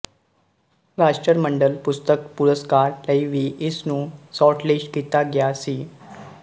ਰਾਸ਼ਟਰਮੰਡਲ ਪੁਸਤਕ ਪੁਰਸਕਾਰ ਲਈ ਵੀ ਇਸ ਨੂੰ ਸ਼ਾਰਟਲਿਸਟ ਕੀਤਾ ਗਿਆ ਸੀ